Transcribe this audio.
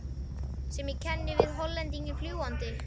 sem ég kenni við Hollendinginn fljúgandi.